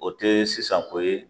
O tee sisan ko ye